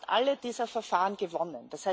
Wir haben fast alle diese Verfahren gewonnen.